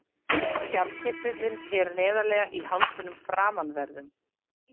Skjaldkirtillinn er neðarlega í hálsinum framanverðum.